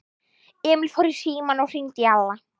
Emil fór í símann og hringdi í Alla.